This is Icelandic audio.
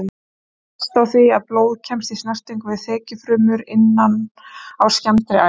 Hún hefst á því að blóð kemst í snertingu við þekjufrumur innan á skemmdri æð.